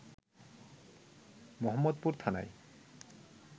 মোহাম্মদপুর থানায়